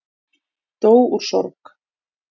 Dó úr sorg